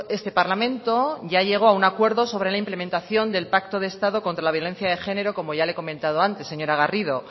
este parlamento ya llegó a un acuerdo sobre una implementación del pacto de estado contra la violencia de género como ya le he comentado antes señora garrido